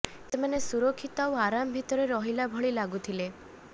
ସେମାନେ ସୁରକ୍ଷିତ ଆର ଆରାମ ଭିତରେ ରହେଲା ବାଗିର ଲାଗୁଥିଲେ